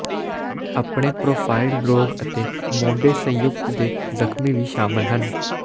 ਆਪਣੇ ਪਰੋਫਾਈਲ ਰੋਗ ਅਤੇ ਮੋਢੇ ਸੰਯੁਕਤ ਦੇ ਜ਼ਖ਼ਮੀ ਵੀ ਸ਼ਾਮਲ ਹੈ